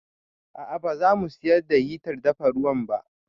A'a ba za mu siyar da hitar dafa ruwan ba